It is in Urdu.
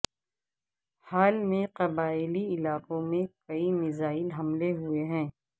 حال میں قبائلی علاقوں میں کئی میزائل حملے ہوئے ہیں